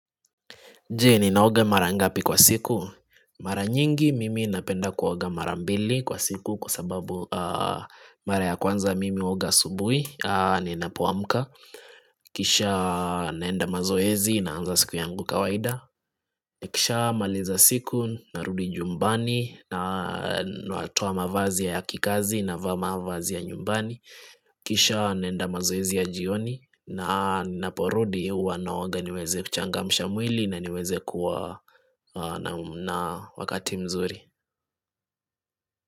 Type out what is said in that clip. Je ninaoga marangapi kwa siku Maranyingi mimi napenda kuoga marambili kwa siku Kwa sababu mara ya kwanza mimi huoga asubuhi ni napoamka Kisha naenda mazoezi naanza siku yangu kawaida nikishamaliza siku narudi nyumbani natoa mavazi ya kikazi na vaa mavazi ya nyumbani Kisha naenda mazoezi ya jioni na ninaporudi huwanaoga niweze kuchangamsha mwili na niweze kuwa na wakati mzuri.